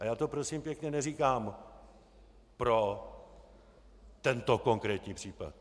A já to prosím pěkně neříkám pro tento konkrétní případ.